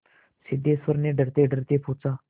सिद्धेश्वर ने डरतेडरते पूछा